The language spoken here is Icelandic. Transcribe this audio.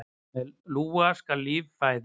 Með lúa skal líf fæða.